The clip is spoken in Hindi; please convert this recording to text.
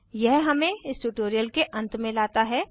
यह हमें इस ट्यूटोरियल के अंत में लाता है